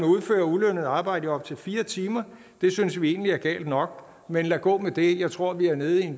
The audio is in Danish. udføre ulønnet arbejde i op til fire timer det synes vi egentlig er galt nok men lad gå med det jeg tror vi er nede